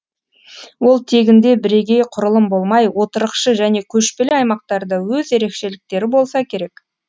ол тегінде бірегей құрылым болмай отырықшы және көшпелі аймақтарда өз ерекшеліктері болса керек